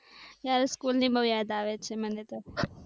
યાર સ્કૂલ ની બહુ યાદ આવે છે. મને તો